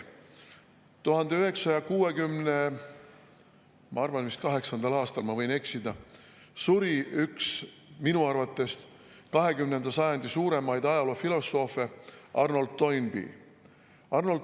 Ma arvan, et vist 1968. aastal, ma võin eksida, suri üks minu arvates 20. sajandi suuremaid ajaloofilosoofe Arnold Toynbee.